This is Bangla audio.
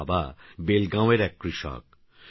তারবাবাবেলগাঁওয়েরএককৃষক